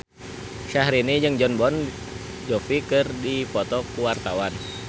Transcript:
Syahrini jeung Jon Bon Jovi keur dipoto ku wartawan